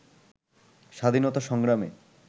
স্বাধীনতা সংগ্রামে